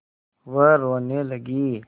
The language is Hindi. वह रोने लगी